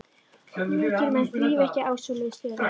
Mikilmenni þrífast ekki á svoleiðis stöðum.